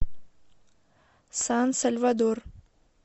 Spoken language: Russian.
сан сальвадор